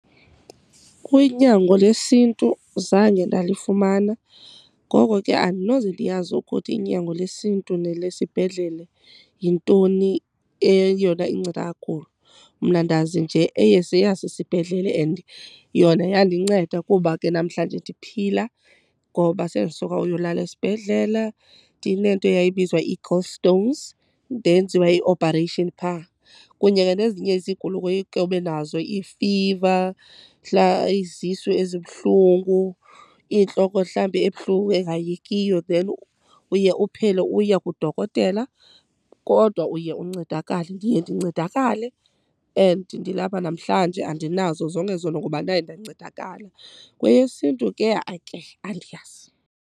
Kwinyango lesiNtu zange ndalifumana ngoko ke andinoze ndiyazi ukuthi unyango lesiNtu nele sibhedlele yintoni eyona inceda kakhulu. Mna ndazi nje eyasesibhedlele and yona yandinceda kuba ke namhlanje ndiphila ngoba sendisuka uyolala esibhedlela ndinento yayibizwa ii-gold stones ndenziwa i-operation phaa. Kunye ke nezinye izigulo ke ube nazo, iifiva, izisu ezibuhlungu iintloko mhlawumbi ebuhlungu engayekiyo then uye uphele uya kudokotela kodwa uye uncedakale. Ndiye ndincedakale and ndilapha namhlanje andinazo zonke ezo nto ngoba ndaye ndancedakala. KweyesiNtu, hayi ke andiyazi.